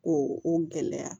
Ko o gɛlɛya